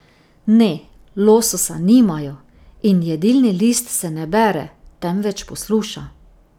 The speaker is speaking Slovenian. Ne, lososa nimajo in jedilni list se ne bere, temveč posluša.